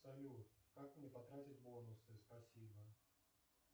салют как мне потратить бонусы спасибо